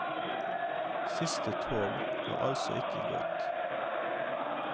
Siste tog har altså ikke gått.